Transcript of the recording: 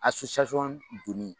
A donni